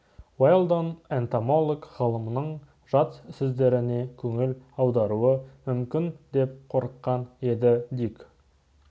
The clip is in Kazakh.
уэлдон энтомолог-ғалымның жат сөздеріне көңіл аударуы мүмкін деп қорыққан еді дик